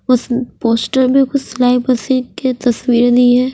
उस पोस्टर में कुछ के तस्वीरे दी है।